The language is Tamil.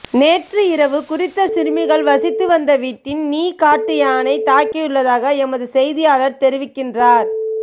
நேற்று இரவு குறித்த சிறுமிகள் வசித்து வந்த வீட்டின் நீ காட்டு யானை தாக்கியுள்ளதாக எமது செய்தியாளர் தெரிவிக்கின்றார்